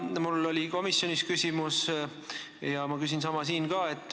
Mul oli aga komisjonis küsimus ja ma küsin sama ka siin.